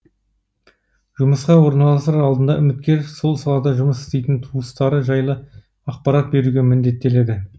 жұмысқа орналасар алдында үміткер сол салада жұмыс істейтін туыстары жайлы ақпарат беруге міндеттеледі